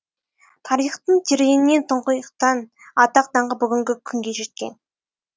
тарихтың тереңінен тұңғиықтан атақ даңқы бүгінгі күнге жеткен